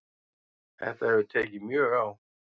Þetta hefur tekið mjög á